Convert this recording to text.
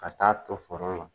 Ka taa ton foro la.